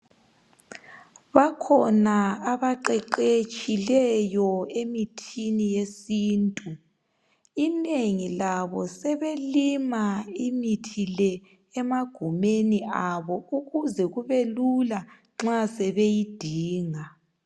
Bakhona abaqeqetshileyo emithini yesintu inengi labo sebelima imithi le emagumeni abo ukuze kube lula nxa sebeyidinga.